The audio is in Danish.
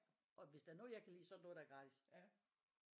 Og hvis der er noget jeg kan lide så er det noget der er gratis